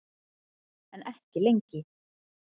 En ekki lengi.